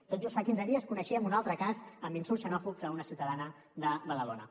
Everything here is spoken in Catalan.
tot just fa quinze dies coneixíem un altre cas amb insults xenòfobs a una ciutadana de badalona